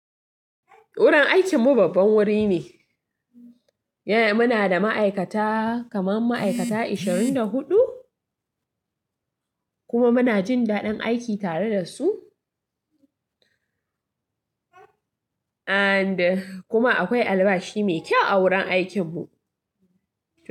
Wurin aikin mu babban wuri ne. Yana muna da ma'aikata kamar ma'aikata 24 kuma muna jin daɗin aiki tare da su. And kuma akwai albashi mai kyau a wurin aikin mu.